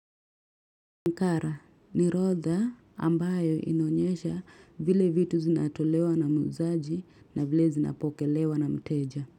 Nkara ni rodha ambayo inanyesha vile vitu zinatolewa na muuzaji na vile zinapokelewa na mteja.